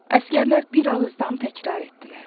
Əsgərlər bir ağızdan təkrar etdilər.